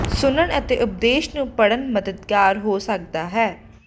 ਸੁਣਨ ਅਤੇ ਉਪਦੇਸ਼ ਨੂੰ ਪੜ੍ਹਨ ਮਦਦਗਾਰ ਹੋ ਸਕਦਾ ਹੈ